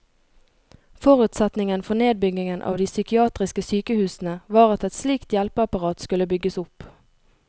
Forutsetningen for nedbyggingen av de psykiatriske sykehusene var at et slikt hjelpeapparat skulle bygges opp.